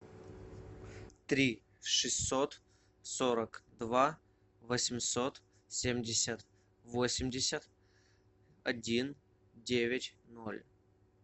три шестьсот сорок два восемьсот семьдесят восемьдесят один девять ноль